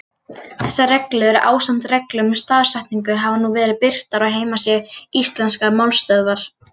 Þessar reglur, ásamt reglum um stafsetningu, hafa nú verið birtar á heimasíðu Íslenskrar málstöðvar.